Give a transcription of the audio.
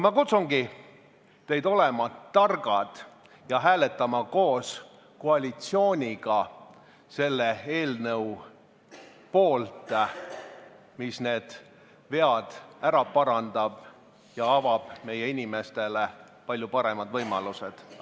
Ma kutsungi teid üles olema targad ja hääletama koos koalitsiooniga selle eelnõu poolt, mis need vead ära parandab ja avab meie inimestele palju paremad võimalused.